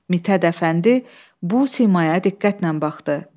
Mit Hədəfəndi bu simaya diqqətlə baxdı.